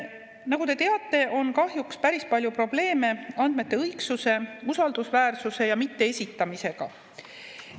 Nagu te teate, on kahjuks päris palju probleeme andmete õigsuse, usaldusväärsuse ja esitamisega.